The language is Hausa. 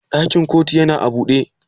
Ɗakin ƙotu yana a buɗe?